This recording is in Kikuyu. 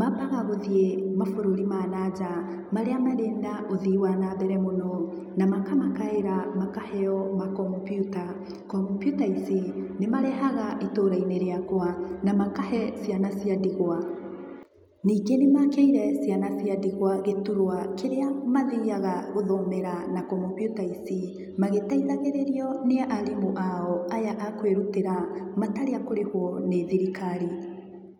Mambaga guthiĩ mabũrũri ma na nja. Marĩa marĩ na ũthii wa nambere mũno na makamakaĩra makaheo ma komputa . Komputa ici nimarehaga itũra-ini riakwa na makahe ciana cia ndigwa. Ningĩ nĩ makĩire ciana cia ndigwa giturwa kĩrĩa mathiaga gũthomera na komputa ici, magĩteithagĩrĩrio nĩ arimũ ao, aya akũĩrutĩra matarĩ akũrĩhũo nĩ thirikari.